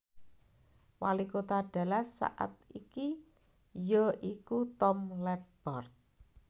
Walikota Dallas saat iki ya iku Tom Leppert